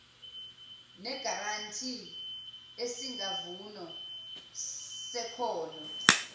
negaranti esingavuni sekhono